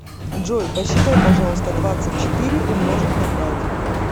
джой посчитай пожалуйста двадцать четыре умножить на пять